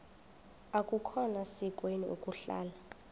akukhona sikweni ukuhlala